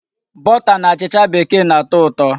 Bọta na achịcha bekee na-atọ ụtọ.